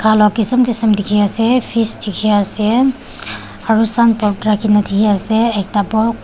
laga kisem kisem dekhi ase fist dekhi ase aru sun kine dekhi ase ekta pok--